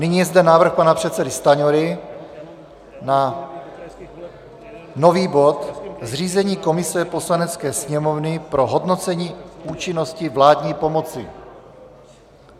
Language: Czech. Nyní je zde návrh pana předsedy Stanjury na nový bod - zřízení komise Poslanecké sněmovny pro hodnocení účinnosti vládní pomoci.